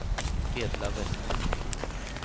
Edla Westlund